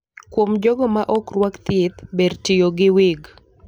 Kuom jogo ma ok rwak thieth, ber tiyo gi wig.